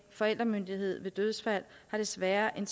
forældremyndighed ved dødsfald er desværre